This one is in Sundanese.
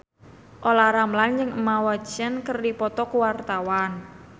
Olla Ramlan jeung Emma Watson keur dipoto ku wartawan